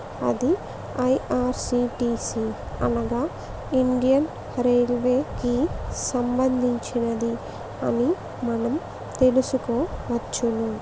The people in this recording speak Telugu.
అది ఐ_ఆర్_సి_టి_ సి అనగా ఇండియన్ రైల్వే కి సంబంధించినది అని మనం తెలుసుకోవచ్చును.